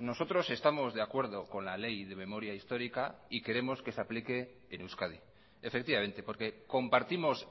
nosotros estamos de acuerdo con la ley de memoria histórica y queremos que se aplique en euskadi efectivamente porque compartimos